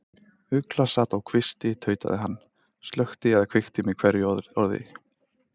Ugla sat á kvisti, tautaði hann og slökkti eða kveikti með hverju orði.